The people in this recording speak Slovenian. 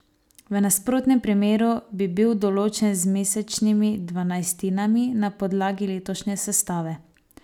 V nasprotnem primeru bi bil določen z mesečnimi dvanajstinami na podlagi letošnje sestave.